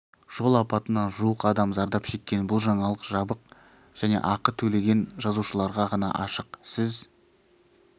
жол апатынан жуық адам зардап шеккен бұл жаңалық жабық және ақы төлеген жазылушыларға ғана ашық сіз